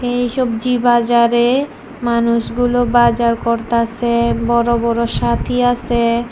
এই সবজি বাজারে মানুষগুলো বাজার করতাসে বড় বড় সাতী আসে।